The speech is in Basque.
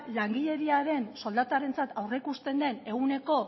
langileriaren soldatarentzat aurreikusten den ehuneko